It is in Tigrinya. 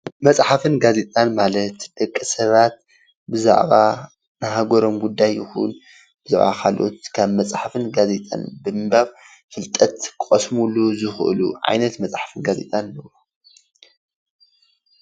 መፅሓፍን ጋዜጣን ማለት ደቂ ሰባት ብዛዕባ ናይ ሃገሮም ጉዳይ ይኩን ብዛዕባ ካልኦት ካብ መፅሓፍን ጋዜጣን ብምንባብ ፍልጠት ክቀስምሉ ዝክእሉ ዓይነት መፅሓፍን ጋዜጣን እዩ፡፡